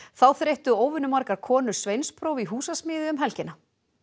þá þreyttu óvenju margar konur sveinspróf í húsasmíði um helgina